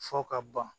Fɔ ka ban